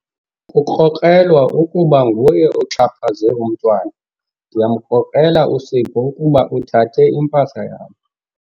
Kukrokrelwa ukuba nguye oxhaphaze umntwana. ndiyamkrokrela uSipho ukuba uthathe impahla yam